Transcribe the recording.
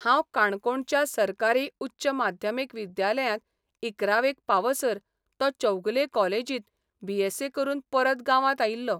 हांव काणकोणच्या सरकारी उच्च माध्यमीक विद्यालयांत इकरावेक पावसर तो चौगुले कॉलेजींत बीएस्सी करून परत गांवांत आयिल्लो.